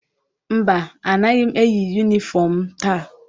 Mba, anaghị m eyi yunifọm m taa.